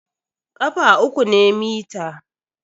ƙafa uku ne mita.